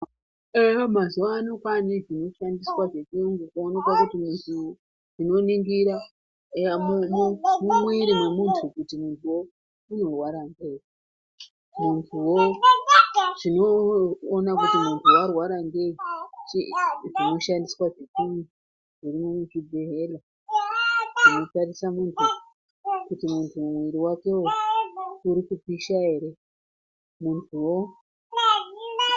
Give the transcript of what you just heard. Eyaa mazuwa ano kwaane zvinoshandiswa zvechiyungu kuonekwa kuti zvinoningira. Eyaa mumwiri mwemuntu kuti muntuwo unorwara ngei. Muntuwo chinoona kuti muntu warwara ngei? Zvinoshandiswa zvechiyungu zvirimwo muzvibhendlera zvinotarisa muntu kuti muntu mwiri wakewo uri kupisha ere? Muntuwo.